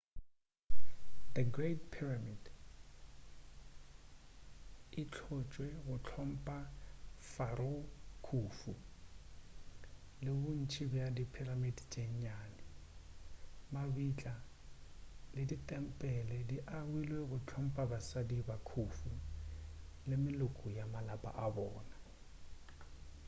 the great pyramid e hlotšwe go hlompha pharaoh khufu le bontši bja di pyramid tše nnyane mabitla le ditempele di agilwe go hlompha basadi ba khufu le meloko ya malapa a bona